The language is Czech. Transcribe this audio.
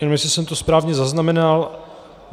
Nevím, jestli jsem to správně zaznamenal.